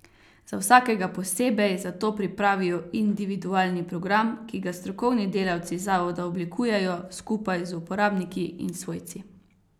Za vsakega posebej zato pripravijo individualni program, ki ga strokovni delavci zavoda oblikujejo skupaj z uporabniki in svojci.